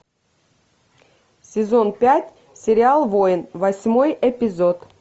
сезон пять сериал воин восьмой эпизод